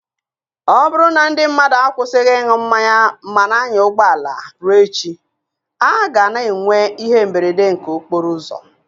Ọ bụrụ na ndị mmadụ akwụsịghị ịṅụ mmanya ma na-anya ụgbọala, ruo echi, a ga-ana enwe ihe mberede nke okporo ụzọ.